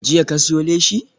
Jiya ka siyo leshi?